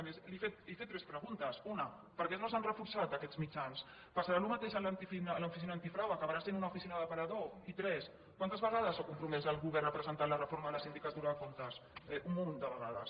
a més he fet tres preguntes una per què no s’han reforçat aquests mitjans passarà el mateix a l’oficina antifrau acabarà sent una oficina d’aparador i tres quantes vegades s’ha compromès el govern a presentar la reforma de la sindicatura de comptes un munt de vegades